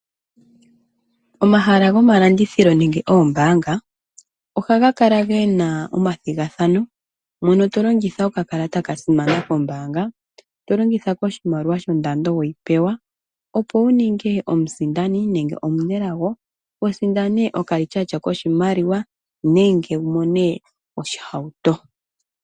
Omahala gomalandithilo nenge oombaanga ohaga kala gena omathigathano , mono to longitha okakalata kasimana kombaanga, yo longitha koshimaliwa shondando we yi pewa. Opo wu ningwe omusindani nenge omunelago sindana okambaapila kokalityatya nenge oshihauto.